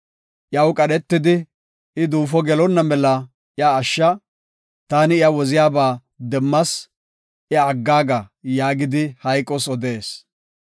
Iyaw qadhetidi, ‘I duufo gelonna mela iya ashsha; taani iya woziyaba demmas; iya aggaaga’ yaagidi hayqos odees.